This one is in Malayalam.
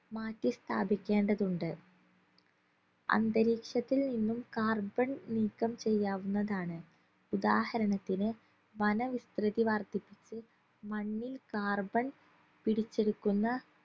മാറ്റി സ്ഥാപികേണ്ടതുണ്ട് അന്തരീക്ഷത്തിൽ നിന്നും carbon നീക്കം ചെയ്യാവുന്നതാണ് ഉദാഹരണത്തിന് വനവിസ്തൃതി വർദ്ധിപ്പിച്ചു മണ്ണിൽ carbon പിടിച്ചെടുക്കുന്ന